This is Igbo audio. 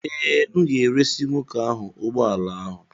Ee, m ga-eresị nwoke ahụ ụgbọ ala ahụ